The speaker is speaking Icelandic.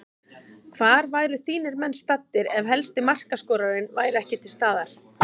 Hvar væru þínir menn staddir ef helsti markaskorarinn væri ekki til staðar?